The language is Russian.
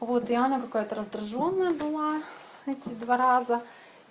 вот и она какая-то раздражённая было эти два раза